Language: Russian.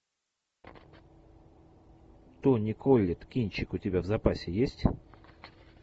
тони коллетт кинчик у тебя в запасе есть